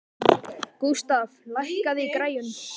Gústaf, lækkaðu í græjunum.